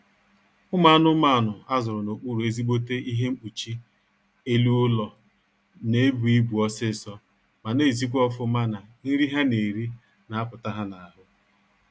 Ụmụ anụmanụ a zụrụ n'okpuru ezigbote ihe mpkuchi elu ụlọ na-ebu ibu ọsịịsọ ma na-ezikwa ọfụma na nri ha na-eri na-apụta ha n'ahụ